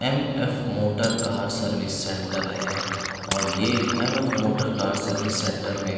M_ F motor का service centre है और ये एम्_ एफ मोटर का सर्विस सेंटर में --